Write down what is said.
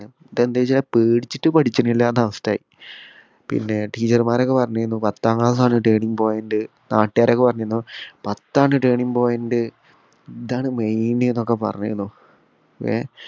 പേടിച്ചിട്ട് പഠിചിന്നില്ല എന്ന അവസ്ഥയായി പിന്നെ teacher മാരൊക്കെ പറഞ്ഞിരുന്നു പത്താം ക്ലാസ് ആണ് Turning point നാട്ടുകാരൊക്കെ പറഞ്ഞിരുന്നു പത്താണ് turning point ഇതാണ് main എന്നൊക്കെ പറഞ്ഞിരുന്നു ഏർ